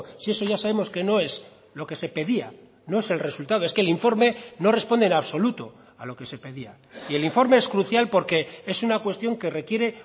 si eso ya sabemos que no es lo que se pedía no es el resultado es que el informe no responde en absoluto a lo que se pedía y el informe es crucial porque es una cuestión que requiere